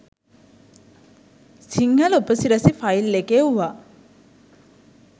සිංහල උපසිරැසි ෆයිල් එක එව්වා